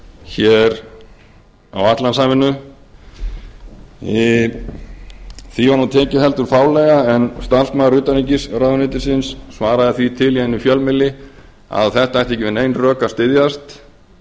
hér á atlantshafinu því var nú tekið heldur fálega en starfsmaður utanríkisráðuneytisins svaraði því til í einum fjölmiðli að þetta ætti ekki við nein rök að styðjast